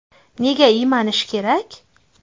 Nega iymanish kerak?